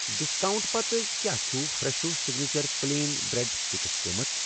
Discount پتہٕ کیٛاہ چھُ Fresho signature plain bread sticks قۭمتھ؟